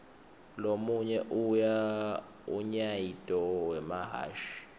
lomunye unyaito wemahhashi